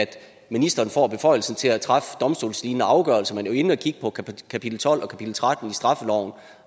at ministeren får beføjelsen til at træffe domstolslignende afgørelser man er jo inde at kigge på kapitel tolv og kapitel tretten i straffeloven